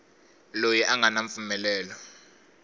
loyi a nga na mpfumelelo